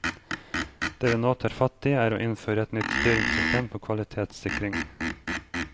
Det vi nå tar fatt i, er å innføre et nytt styringssystem for kvalitetssikring.